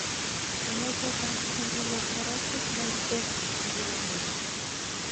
Kanyoisetab Spondylothoracic dysostosis ngiro ne mi?